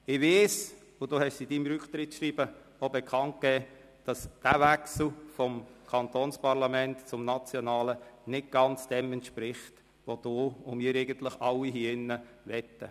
Ich weiss, und Sie haben es in Ihrem Rücktrittsschreiben auch bekannt gegeben, dass dieser Wechsel vom Kantonsparlament ins nationale Parlament nicht ganz dem entspricht, was Sie und eigentlich wir alle hier im Saal wollen.